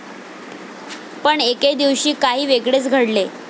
पण एके दिवशी काही वेगळेच घडले.